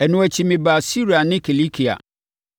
Ɛno akyi, mebaa Siria ne Kilikia.